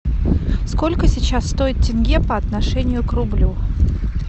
сколько сейчас стоит тенге по отношению к рублю